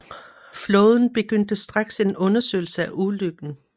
Flåden begyndte straks en undersøgelse af ulykken